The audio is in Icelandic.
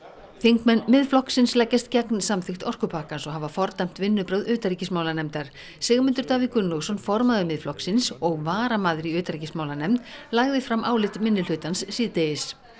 þingmenn Miðflokksins leggjast gegn samþykkt orkupakkans og hafa fordæmt vinnubrögð utanríkismálanefndar Sigmundur Davíð Gunnlaugsson formaður Miðflokksins og varamaður í utanríkismálanefnd lagði fram álit minnihlutans síðdegis